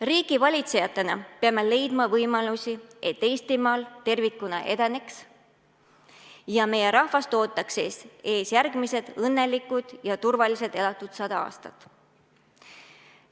Riigivalitsejatena peame leidma võimalusi, et Eestimaa tervikuna edeneks ja meie rahvast ootaksid ees järgmised õnnelikud ja turvaliselt elatud sada aastat.